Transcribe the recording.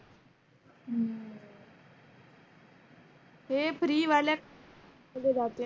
हा जे free वाल्या